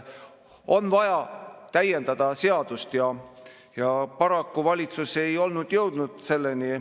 On vaja täiendada seadust, aga paraku valitsus ei ole selleni jõudnud.